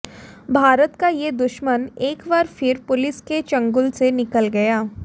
भारत का ये दुश्मन एक बार फिर पुलिस के चंगुल से निकल गया